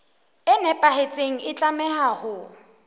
e nepahetseng e tlameha ho